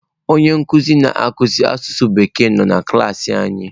Onye nkuzi na akụzi asụsụ bekee nọ na klaasị anyị